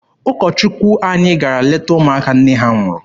Ụkọ Chukwu anyị gara leta ụmụaka nne ha nwụrụ.